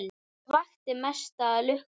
En hvað vakti mesta lukku?